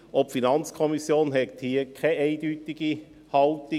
Auch die FiKo hat hier keine eindeutige Haltung.